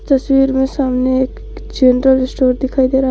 तस्वीर में सामने एक जनरल स्टोर दिखाई दे रहा है।